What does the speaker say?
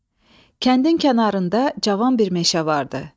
Kəndin kənarında cavan bir meşə vardı.